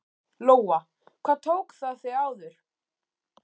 Lóa: Hvað tók það þig áður?